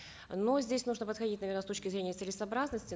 но здесь нужно подходить наверно с точки зрения целесообразности